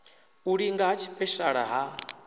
u linga ha tshipeshala ha